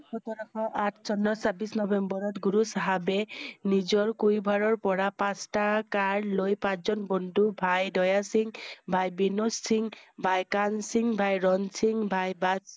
সোতৰ শ আঠ চনত ছাব্বিশ নৱেম্বৰত গুৰু চাহাবে নিজৰ কৈভাৰৰ পৰা পাঁচটা কাৰ লৈ পাঁচ জন বন্ধু ভাই দিয়া, সিংহ ভাই বিনোদ সিংহ, ভাই কান সিংহ, ভাই ৰণ সিংহ, ভাই বাদ